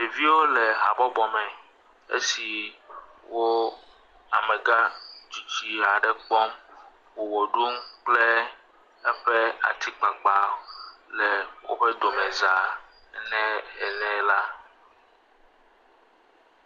Ɖeviwo le habɔbɔ me esiwo amegã tsitsi aɖe kpɔm wo ʋe ɖum kple eƒe atsikpakpa le woƒe domeza ne ene la.